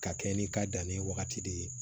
Ka kɛɲɛ ni i ka danni wagati de ye